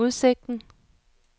udsigten